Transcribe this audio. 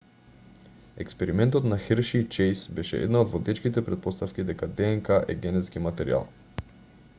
експериментот на херши и чејс беше една од водечките претпоставки дека днк е генетски материјал